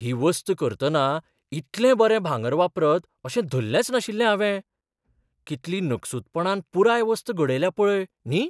ही वस्त करतना इतलें बरें भांगर वापरत अशें धल्लेंच नाशिल्लें हावें. कितली नकसूदपणान पुराय वस्त घडयल्या पळय, न्ही!